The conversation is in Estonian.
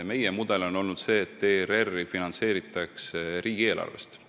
Meie mudel on olnud see, et ERR-i finantseeritakse riigieelarvest.